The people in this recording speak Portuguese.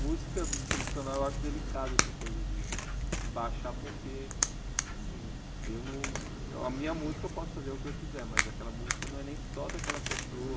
Música tradicional eu acho delicada essa coisa de de baixar, porque assim, eu não a minha música eu posso fazer o que eu quiser, mas aquela música não é nem só daquela pessoa.